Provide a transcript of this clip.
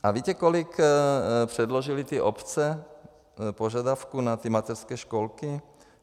A víte, kolik předložily ty obce požadavků na ty mateřské školky?